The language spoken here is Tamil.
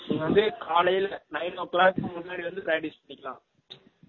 நீ வந்து காலைல nine o clock முன்னாடி வந்து practise பன்னிகலாம்